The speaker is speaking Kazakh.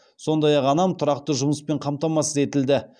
сондай ақ анам тұрақты жұмыспен қамтамасыз етілді